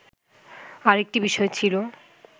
আরেকটি বিষয় ছিল